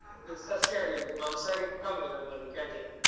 ಸಸ್ಯಹಾರಿ ಇರುದು ಮಾಂಸಾಹಾರಿ ಕಮ್ಮಿ ನಮ್ಮಲ್ಲಿ canteen .